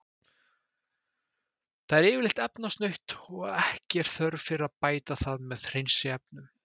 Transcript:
Það er yfirleitt efnasnautt og ekki er þörf fyrir að bæta það með hreinsiefnum.